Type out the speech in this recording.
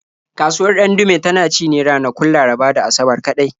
Kasuwar Ɗandume tana ci ne a ranakun Laraba da Asabar kaɗai.